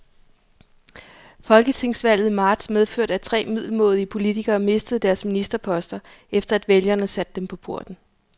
Folketingsvalget i marts medførte, at tre middelmådige politikere mistede deres ministerposter, efter at vælgerne satte dem på porten.